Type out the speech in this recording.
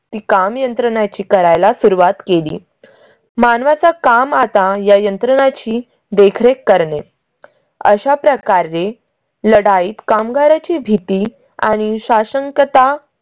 ती काम यंत्रणाची करायला सुरुवात केली. मानवा चा काम आता या यंत्रणाची देखरेख करणे अशा प्रकारे लढाईत कामगारा ची भीती आणि शाशंकता